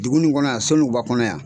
Dugu nin kɔnɔ yan SONUGUBA kɔnɔ yan.